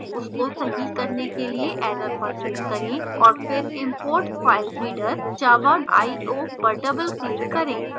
उसको सही करने के लिए error पर click करें और फिर import filereader java io पर double click करें